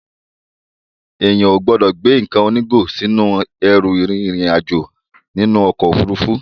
Èèyàn ò gbọ́dọ̀ gbé nǹkan onígò sínú ẹrù rin ìrìn àjò nínú ọkọ̀ Òfurufú.